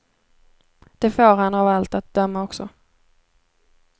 Det får han av allt att döma också.